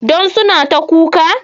Don suna ta kuka